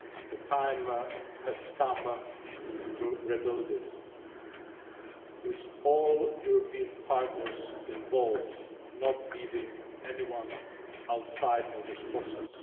the time has come to rebuild it with all European partners involved, not leaving anyone outside of this process.